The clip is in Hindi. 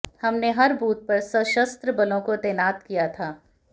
हमने हर बूथ पर सशस्त्र बलों को तैनात किया था